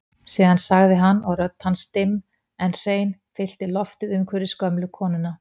Síðan sagði hann og rödd hans dimm en hrein fyllti loftið umhverfis gömlu konuna